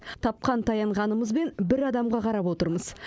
тапқан таянғанымызбен бір адамға қарап отырмыз